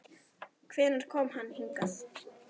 Hvenær kom hann hingað?